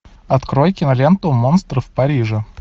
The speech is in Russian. открой киноленту монстры в париже